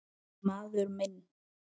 Maður minn.